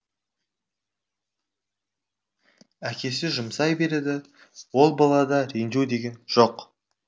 әкесі жұмсай береді ол балада ренжу деген жоқ